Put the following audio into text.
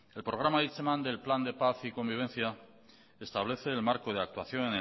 el programa hitzeman del plan de paz y convivencia establece el marco de actuación